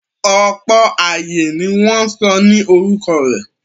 Ọ̀pọ̀ ààyè ni wọ́n sọ ní orúkọ rẹ̀.